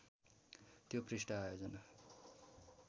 त्यो पृष्ठ आयोजना